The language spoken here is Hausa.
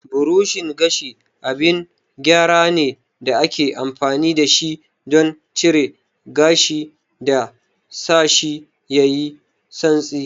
Burushin gashi abin gyara ne da ake amfani da shi don cire gashi da sashi yayi santsi.